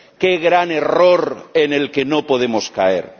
¡Qué gran error en el que no podemos caer!